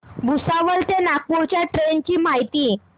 भुसावळ ते नागपूर च्या ट्रेन ची माहिती